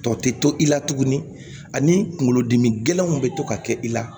Tɔ tɛ to i la tuguni ani kunkolodimi gɛlɛnw bɛ to ka kɛ i la